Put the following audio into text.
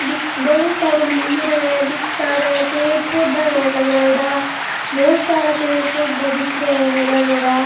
दी बड़ो सारो मंदिर है बिग सारे पेड़ पौधा है लगाईडा बहोत सारे पेड़ पौधा दिख रहा है हरा भरा।